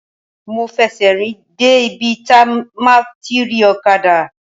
Mo fẹ̀sẹ̀ rìn dé ibi tí máa ti rí ọ̀kadà.